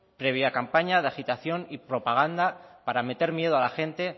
previa campaña de agitación y propaganda para meter miedo a la gente